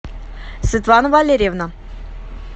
светлана валерьевна